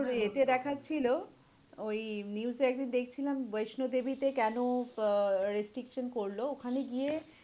তোর ইয়ে তে দেখাচ্ছিল, ওই news এ একদিন দেখছিলাম বৈষ্ণোদেবীতে কেন আহ restriction করলো, ওখানে গিয়ে